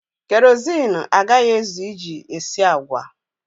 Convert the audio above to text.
Kerọsinụ agaghị ezu iji esi agwa.